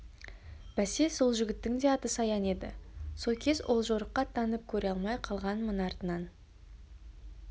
бәсе сол жігіттің де аты саян еді со кез ол жорыққа аттанып көре алмай қалғанмын артынан